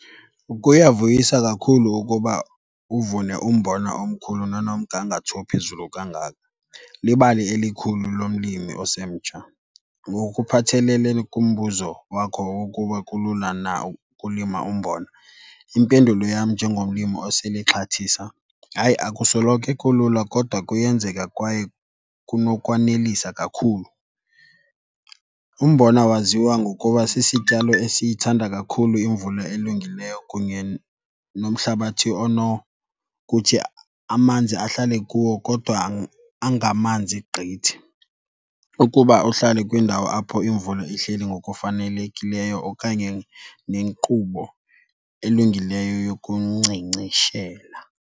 Kuyavuyisa kakhulu ukuba uvune umbona omkhulu nonomgangatho ophezulu kangaka, libali elikhulu lomlimi osemtsha. Ngokuphathelele kumbuzo wakho wokuba kulula na ukulima umbona, impendulo yam njengomlimi osele exhathisa, hayi, akusoloke kulula kodwa kuyenzeka kwaye kunokwanelisa kakhulu. Umbona waziwa ngokuba sisityalo esiyithanda kakhulu imvula elungileyo kunye nomhlabathi onokuthi amanzi ahlale kuwo kodwa angamanzi gqithi ukuba uhlale kwindawo apho imvula ihleli ngokufanelekileyo okanye nenkqubo elungileyo yokunkcenkceshela.